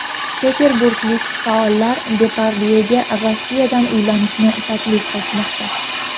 Peterburglik faollar Depardyega Rossiyadan uylanishni taklif qilishmoqda.